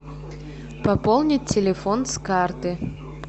пополнить телефон с карты